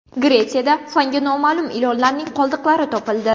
Gretsiyada fanga noma’lum ilonlarning qoldiqlari topildi.